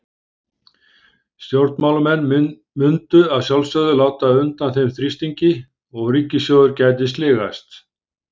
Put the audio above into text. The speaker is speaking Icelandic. Stjórnmálamenn mundu að sjálfsögðu láta undan þeim þrýstingi og ríkissjóður gæti sligast.